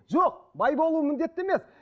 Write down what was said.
жоқ бай болу міндетті емес